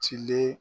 Cilen